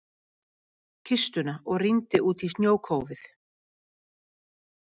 kistuna og rýndi út í snjókófið.